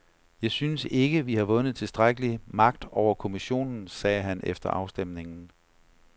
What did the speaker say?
Jeg synes ikke, vi har vundet tilstrækkelig magt over kommissionen, sagde han efter afstemningen.